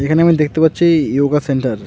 এখানে আমি দেখতে পাচ্ছি ইয়োগা সেন্টার ।